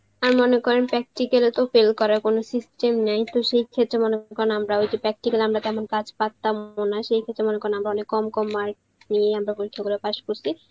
আর মনে করেন practical এ তো fail করার কোনো system নেই তো সেই ক্ষেত্রে মনে করেন, আমরা ওই যে practical এ কেমন কাজ পারতাম ও না, সেই ক্ষেত্রে আমরা মনে করেন অনেক কম কম mark, পেয়ে আমরা পরীক্ষা গুলয়ে pass করসি